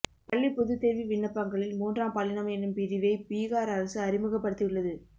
பள்ளி பொதுத்தேர்வு விண்ணப்பங்களில் மூன்றாம் பாலினம் என்னும் பிரிவை பீகார் அரசு அறிமுகப்படுத்தியுள்ளது